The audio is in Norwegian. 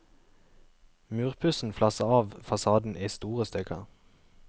Murpussen flasser av fasaden i store stykker.